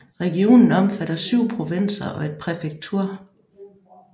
Regionen omfatter 7 provinser og et præfektur